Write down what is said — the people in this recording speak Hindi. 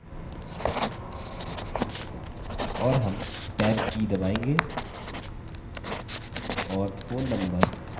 और हम टैब की दबाएँगे और phone number colon type करेंगे